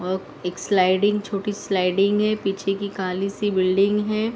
और एक स्लायडिंग छोटी स्लायडिंग है पीछे की काली सी बिल्डिंग है।